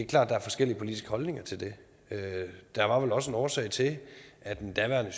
der er forskellige politiske holdninger til det der var vel også en årsag til at den daværende